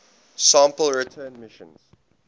sample return missions